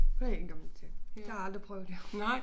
Det ikke en dum ting det har aldrig prøvet jo